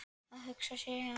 Að hugsa sér segir hann.